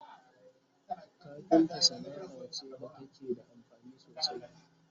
kafinta Sanaa ce da take da amfani sosai